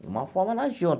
De uma forma, ela agiu.